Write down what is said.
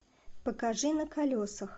покажи на колесах